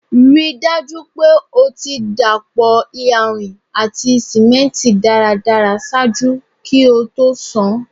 Rii daju pe o ti dapọ iyanrin ati simenti daradara ṣaaju ki o to ṣan